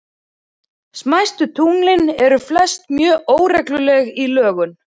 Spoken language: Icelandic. Smæstu tunglin eru flest mjög óregluleg í lögun.